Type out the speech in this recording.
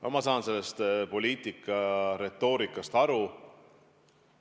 No ma saan sellest poliitilisest retoorikast aru.